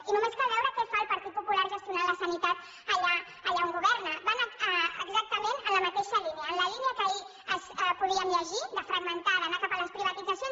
i només cal veure què fa el partit popular gestionant la sanitat allà on governa van exactament en la mateixa línia en la línia que ahir podíem llegir de fragmentar d’anar cap a les privatitzacions